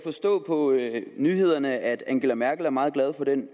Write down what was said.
forstå på nyhederne at angela merkel er meget glad for den